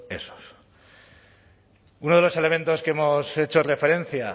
esos uno de los elementos que hemos hecho referencia